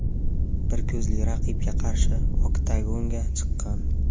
Bir ko‘zli raqibga qarshi oktagonga chiqqan.